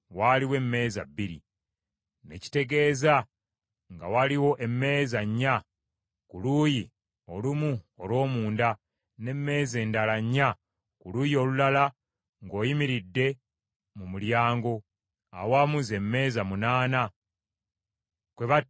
Ne kitegeeza nga waaliwo emmeeza nnya ku luuyi olumu olw’omunda, n’emmeeza endala nnya ku luuyi olulala ng’oyimiridde mu mulyango, awamu z’emmeeza munaana, kwe battiranga ssaddaaka.